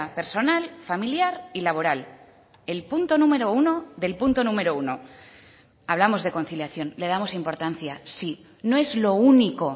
personal familiar y laboral el punto número uno del punto número uno hablamos de conciliación le damos importancia sí no es lo único